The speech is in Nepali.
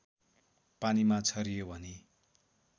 पानीमा छरियो भने